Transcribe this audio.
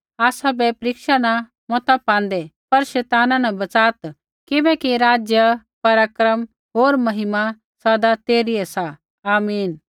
आसाबै परीक्षा न मता पाँदै पर शैताना न बच़ात् किबैकि राज्य पराक्रम होर महिमा सदा तेरै सी आमीन